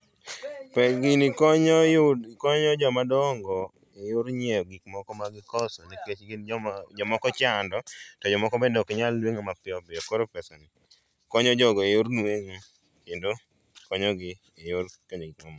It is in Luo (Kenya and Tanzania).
Gini konyo yud, konyo jomadongo e yor nyieo gikmoko ma gikoso nikech gin joma jomoko ochando to jokmoko bend oknyal nueng'o mapiyopiyo koro pesani konyo jogo e yor nueng'o kendo konyogi e yor konyo gikmamoko